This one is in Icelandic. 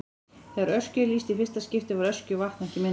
Þegar Öskju er lýst í fyrsta skipti var Öskjuvatn ekki myndað.